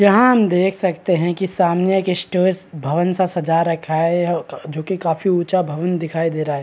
यहाँ हम देख सकते हैं की सामने एक स्टेज भवन सा सजा रखा है यह जो की काफी ऊँचा भवन दिखाई दे रहा है।